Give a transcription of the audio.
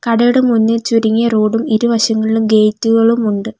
കടയുടെ മുന്നിൽ ചുരുങ്ങിയ റോഡ് ഉം ഇരുവശങ്ങളിലും ഗേറ്റ് കളും ഉണ്ട്.